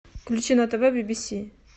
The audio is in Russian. включи на тв би би си